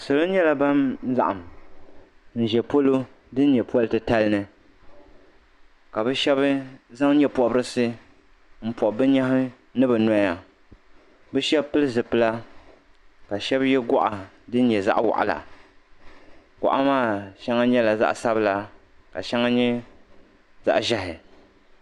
Salo nyɛla ban laɣim n ʒɛ polo din nyɛ poli titali ni ka bi shɛba zaŋ nyɛ pɔbirisi n pɔbi bi nyɛhi ni bi nɔya bi shɛba pili zipila ka shɛba yɛ gɔɣa din nyɛ zaɣa waɣila gɔɣa maa shɛŋa nyɛla zaɣa sabila ka shɛŋa nyɛ zaɣa ʒiɛhi.